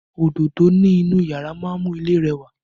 Òdodo ni inú yàrá máa ń mú ilé rẹwà